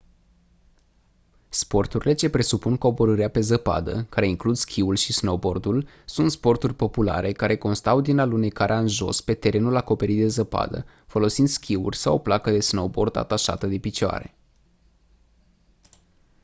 sporturile ce presupun coborârea pe zăpadă care includ schiul și snowboardul sunt sporturi populare care constau din alunecarea în jos pe terenul acoperit de zăpadă folosind schiuri sau o placă de snowboard atașată de picioare